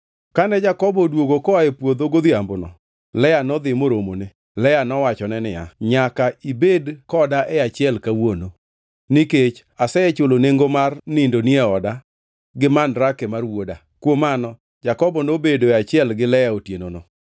Kane Jakobo odwogo koa e puodho godhiambono, Lea nodhi moromone. Lea nowachone niya, “Nyaka ibed koda e achiel kawuono, nikech asechulo nengo mar nindoni e oda gi mandrake mar wuoda.” Kuom mano Jakobo nobedoe achiel gi Lea otienono.